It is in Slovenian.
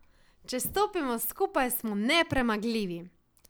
Če stopimo skupaj, smo nepremagljivi.